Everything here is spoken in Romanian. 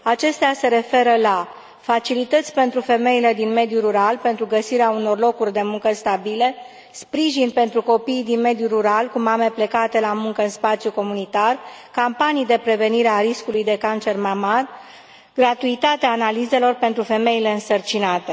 Acestea se referă la facilități pentru femeile din mediul rural pentru găsirea unor locuri de muncă stabile, sprijin pentru copiii din mediul rural cu mame plecate la muncă în spațiul comunitar, campanii de prevenire a riscului de cancer mamar, gratuitatea analizelor pentru femeile însărcinate.